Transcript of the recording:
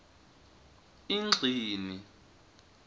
ingcini